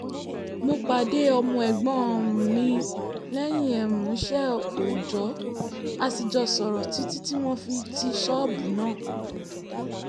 mo pàdé ọmọ ẹ̀gbọ́n um mi lẹ́yìn um iṣẹ́ òòjò a sì jọ sọ̀rọ̀ títí tí wọ́n fi ti ṣọ́ọ̀bù náà